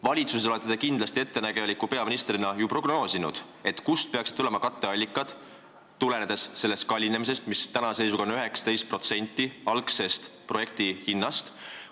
Valitsuses olete te ettenägeliku peaministrina kindlasti prognoosinud, kust peaksid tulema katteallikad, tulenedes sellest kallinemisest, mis tänase seisuga on 19% projekti algse hinnaga võrreldes.